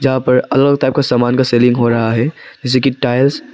यहां पर अलग टाइप का सामान का सेलिंग हो रहा है जैसे कि टाइल्स --